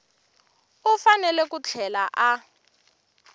u fanele ku tlhela a